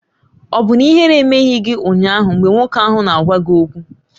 Ọ̀ bụ na ihere emeghị gị ụnyaahụ mgbe nwoke ahụ na-agwa gị okwu?